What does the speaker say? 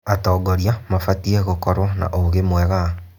Atongoria mabatiĩ gũkorwo na ũũgĩ mwega.